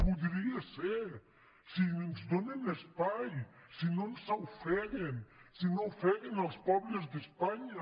podria ser si ens donen espai si no ens ofeguen si no ofeguen els pobles d’espanya